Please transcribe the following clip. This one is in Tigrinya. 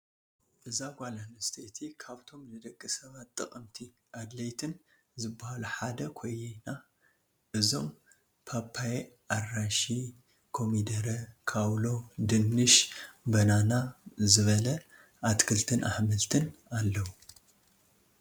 እዛ ጓል ኣነስተይቲ ካብቶም ንደቂ ሰባት ጠቀምቲ ኣድላይትን ዝበሃሉ ሓደ ኮይየ እዞም ፖፓየ ኣራሺ፣ ኮሚደረ፣ ካውሎ ፣ድንሽ በናና ዝበላ ኣትክልትን ኣሕምልትን ኣለው።